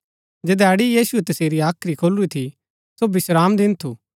जधैड़ी यीशुऐ तसेरी हाख्री खोलूरी थी सो विश्रामदिन थू